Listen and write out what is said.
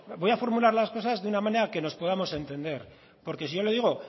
voy a formular las cosas de una manera que nos podamos entender porque si yo le digo